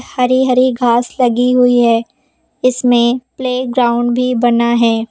हरी हरी घास लगी हुई है इसमें प्लेग्राउंड भी बना है।